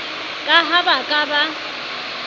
ka ha ba ka ba